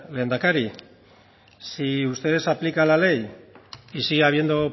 lehendakari si ustedes aplican la ley y sigue habiendo